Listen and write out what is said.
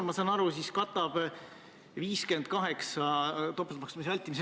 Nimelt, kogu sellesse raudteeseaduse muutmisesse ei olnud kaasatud kõik sihtgrupid.